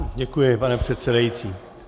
Děkuji, pane předsedající.